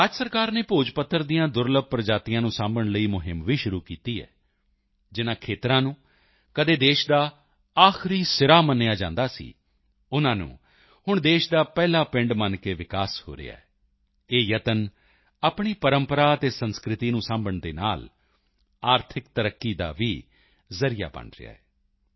ਰਾਜ ਸਰਕਾਰ ਨੇ ਭੋਜਪੱਤਰ ਦੀਆਂ ਦੁਰਲੱਭ ਪ੍ਰਜਾਤੀਆਂ ਨੂੰ ਸਾਂਭਣ ਲਈ ਮੁਹਿੰਮ ਵੀ ਸ਼ੁਰੂ ਕੀਤੀ ਹੈ ਜਿਨ੍ਹਾਂ ਖੇਤਰਾਂ ਨੂੰ ਕਦੇ ਦੇਸ਼ ਦਾ ਆਖਰੀ ਸਿਰਾ ਮੰਨਿਆ ਜਾਂਦਾ ਸੀ ਉਨ੍ਹਾਂ ਨੂੰ ਹੁਣ ਦੇਸ਼ ਦਾ ਪਹਿਲਾ ਪਿੰਡ ਮੰਨ ਕੇ ਵਿਕਾਸ ਹੋ ਰਿਹਾ ਹੈ ਇਹ ਯਤਨ ਆਪਣੀ ਪਰੰਪਰਾ ਅਤੇ ਸੰਸਕ੍ਰਿਤੀ ਨੂੰ ਸਾਂਭਣ ਦੇ ਨਾਲ ਆਰਥਿਕ ਤਰੱਕੀ ਦਾ ਵੀ ਜ਼ਰੀਆ ਬਣ ਰਿਹਾ ਹੈ